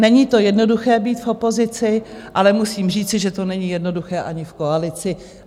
Není to jednoduché, být v opozici, ale musím říci, že to není jednoduché ani v koalici.